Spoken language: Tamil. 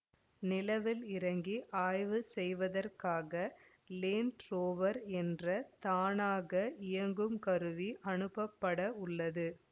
நிலவில் இறங்கி ஆய்வு செய்வதற்காக லேண்ட் ரோவர் என்ற தானாக இயங்கும் கருவி அனுப்பப்பட உள்ளது